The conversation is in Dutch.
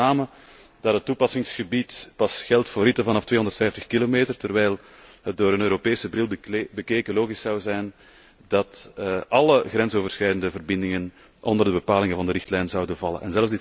Ik betreur met name dat het toepassingsgebied pas geldt voor ritten vanaf 250 kilometer, terwijl het door een Europese bril bekeken logisch zou zijn dat alle grensoverschrijdende verbindingen onder de bepalingen van de richtlijn zouden vallen.